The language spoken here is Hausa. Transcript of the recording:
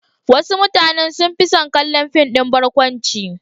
Wasu mutanen sun fi son kallon fim ɗin barkwanci.